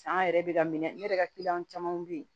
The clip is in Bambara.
San yɛrɛ bɛ ka minɛ ne yɛrɛ ka kiliyanw camanw bɛ yen